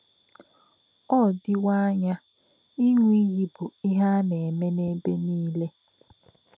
um Ọ́ dị́wọ̀ ànyá ị̀ṅụ́ ìyì̄ bụ́ íhè̄ ā̀ nā̄-èmē n’èbè̄ nílé̄.